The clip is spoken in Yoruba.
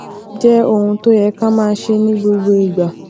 jé ohun tó yẹ ká máa ṣe ní gbogbo ìgbà